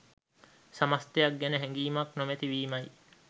සමස්තයක් ගැන හැඟීමක් නොමැති වීමයි.